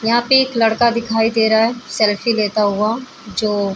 यहाँ पे एक लड़का दिखाई दे रहा है सेल्फी लेता हुआ जो --